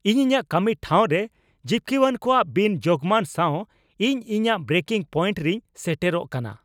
ᱤᱧ ᱤᱧᱟᱹᱜ ᱠᱟᱹᱢᱤ ᱴᱷᱟᱶ ᱨᱮ ᱡᱤᱯᱠᱟᱹᱣᱟᱱ ᱠᱚᱣᱟᱜ ᱵᱤᱱᱼᱡᱳᱜᱽᱢᱟᱱ ᱥᱟᱶ ᱤᱧ ᱤᱧᱟᱹᱜ ᱵᱨᱮᱠᱤᱝ ᱯᱚᱭᱮᱱᱴ ᱨᱤᱧ ᱥᱮᱴᱮᱨᱚᱜ ᱠᱟᱱᱟ ᱾